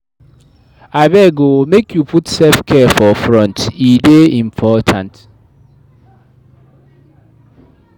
Abeg o, make you put sef-care for front, e dey important.